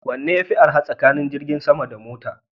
Wanne yafi arha tsakanin jirgin sama da mota?